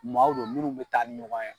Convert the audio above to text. Maaw don munnu be taa ni ɲɔgɔn ye